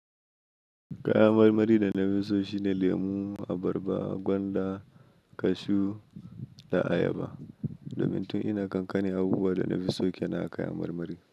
Kayan marmari da nafi so shine lemu, abarba, gwanda, kashu da ayaba. Domin tun ina kankani abubuwan dana fi so kenan a kayan marmari.